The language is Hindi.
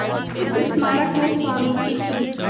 इस स्मारक में स्वामी जी की